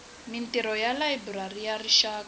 mintirho ya layiburari ya rixaka